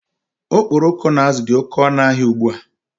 Okporoko na azụ dị oké ọnụ n'ahia ụgbụa